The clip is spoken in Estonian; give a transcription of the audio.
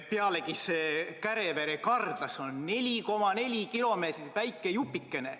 Pealegi see Kärevere–Kardla on 4,4 kilomeetri pikkune väike jupikene.